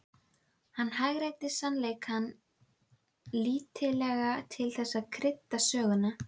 Hann hagræddi sannleikanum lítillega til þess að krydda söguna.